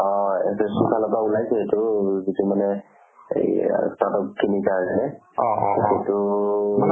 অ, SSC ৰ ফালৰ পৰা ওলাইছে এইটো যিটো মানে এই আৰু স্নাতক তিনিটা যে সেইটোতো